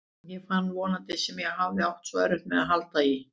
Ég fann vonina sem ég hafði átt svo erfitt með að halda í.